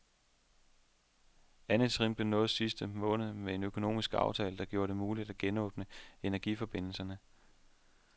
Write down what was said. Andet trin blev nået i sidste måned med en økonomisk aftale, der gjorde det muligt at genåbne energiforbindelserne.